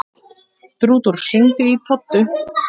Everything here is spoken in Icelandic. Þrútur, hringdu í Toddu.